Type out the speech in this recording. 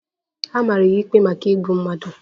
A mara ya ikpe maka igbu mmadu